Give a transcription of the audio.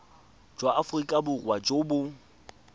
jwa aforika borwa jo bo